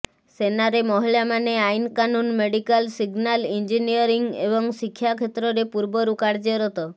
ସେନାରେ ମହିଳାମାନେ ଆଇନ କାନୁନ ମେଡିକାଲ ସିଗ୍ନାଲ ଇଂଜିନିୟରିଂ ଏବଂ ଶିକ୍ଷା କ୍ଷେତ୍ରରେ ପୂର୍ବରୁ କାର୍ୟ୍ୟରତ